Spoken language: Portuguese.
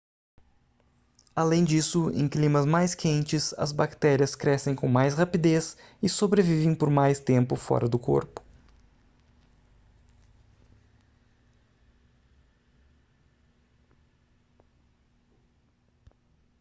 além disso em climas mais quentes as bactérias crescem com mais rapidez e sobrevivem por mais tempo fora do corpo